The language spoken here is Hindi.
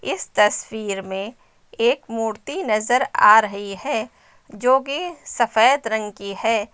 इस तस्वीर में एक मूर्ति नजर आ रही है जो कि सफेद रंग की है।